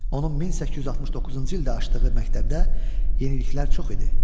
Onun 1869-cu ildə açdığı məktəbdə yeniliklər çox idi.